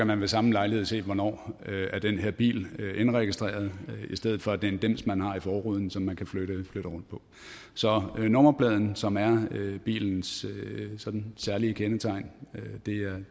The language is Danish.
man ved samme lejlighed se hvornår den her bil er indregistreret i stedet for at det er en dims man har i forruden som man kan flytte rundt så nummerpladen som er bilens særlige kendetegn